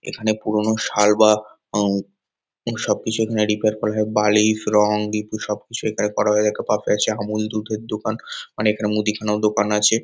এখানে পুরোনো শাল বা উম এবং সবকিছু এখানে রিপেয়ার করা হয়। বালিশ রঙ রিপু সবকিছু এখানে করা হয়ে থাকে। পাশে আছে আমূল দুধের দোকান । অনেকটা মুদিখানাও দোকান আছে।